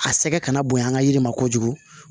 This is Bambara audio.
A sɛgɛ kana bonya yiri ma kojugu